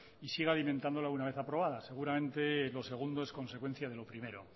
y sigue alimentándola una vez aprobada seguramente lo segundo es consecuencia de lo primero